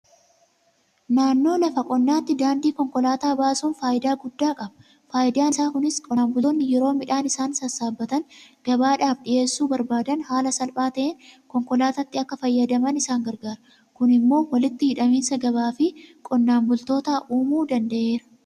Naannoo lafa qonnaatti daandii konkolaataa baasuun faayidaa guddaa qaba. Faayidaan isaa kunis qonnaan bultoonni yeroo midhaan isaanii sassaabbatanii gabaadhaaf dhiyeessuu barbaadan haala salphaa ta'een konkolaataatti akka fayyadaman isaan gargaara. Kun immoo walitti hidhaminsa gabaafi qonnaanbultootaa uumuu danda'eera.